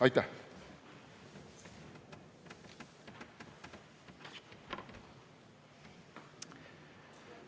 Aitäh!